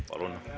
Palun!